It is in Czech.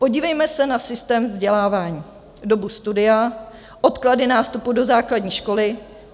Podívejme se na systém vzdělávání, dobu studia, odklady nástupu do základní školy.